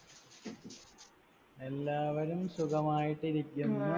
എല്ലാവരും സുഖമായിട്ടിരിക്കുന്നു